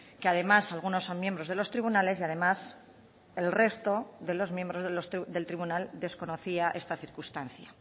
que además algunos son miembros de los tribunales y además el resto de los miembros del tribunal desconocía esta circunstancia